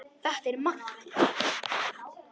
Þetta er Maggi!